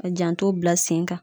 Ka janto bila sen kan